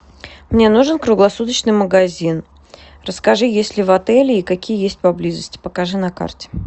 мне нужен круглосуточный магазин расскажи есть ли в отеле и какие есть поблизости покажи на карте